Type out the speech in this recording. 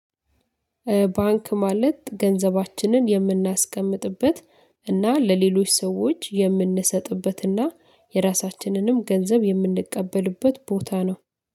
ባንክ ማለት ገንዘባችንን የምናስቀምጥበት እና ለሌሎች ሰዎች የምንሰጥበትና የራሳችንንም ገንዘብ የምንቀበልበት ቦታ ነው።